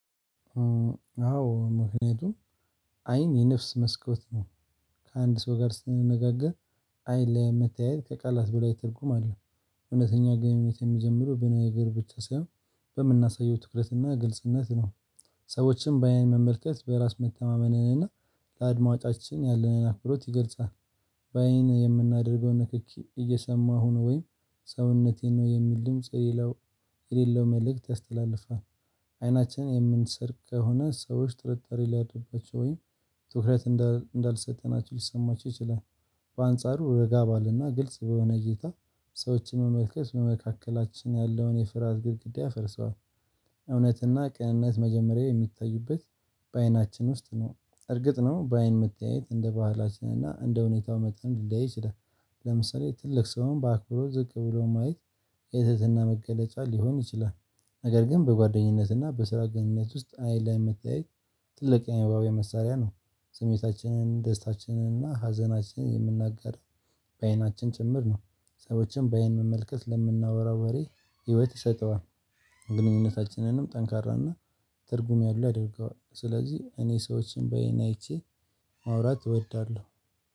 አዎ ምክንያቱም አይን የነፍስ መስኮት ነው። ከአንድ ሰው ጋር ስንነጋገር አይን ለመታየት ከቃላት በላይ ትርጉም አለ። እውነተኛ ግንኙነት የሚጀምሩ በነገር ብቻ ሳይሆን በምናሳየው ትኩረትና ግልጽነት ነው። ሰዎችን በአይን መመልከት በራስ መተማመንንና ለአድማጫችን ያለንን አክብሮት ይገልጻል። በአይን የምናደርገውን ንክኪ እየሰማሁ ነው ወይም ሰውነቴን ነው የሚል ድምጽ የሌለው መልእክት ያስተላልፋል። አይናችን የምንሰርቅ ከሆነ ሰዎች ጥርጣሬ ሊያድርባቸው ወይ ትኩረት እንዳልሰጠናቸው ሊሰማቸው ይችላል። በአንጻሩ ረጋ ባለና ግልጽ በሆነ እይታ ሰዎችን መመልከት በመካከላችን ያለውን የፍርሃት ግድግዳ ፈርሷል። እውነትና ቅንነት መጀመሪያ የሚታዩበት በአይናችን ውስጥ ነው። እርግጥ ነው በአይን መተያየት እንደ ባህላችን እና እንደ ሁኔታው መጠን ሊያይ ይችላል። ለምሳሌ ትልቅ ሰውን በአክብሮት ዝቅ ብሎ ማየት የትህትና መገለጫ ሊሆን ይችላል። ነገር ግን በጓደኝነትና በስራ ግንኙነት ውስጥ አይን ለመተያየት ትልቅ አንባቢ መሳሪያ ነው። ስሜታችንን ደስታችንን እና ሀዘናችንን የምንናገር በአይናችን ጭምር ነው። ሰዎችን በአይን መመልከት ለምናወራው ወሬ ህይወት ይሰጠዋል። ግንኙነታችንንም ጠንካራና ትርጉም ያለው ያደርገዋል ስለዚህ እኔ ሰዎችን በአይን አይቼ ማውራት እወዳለሁ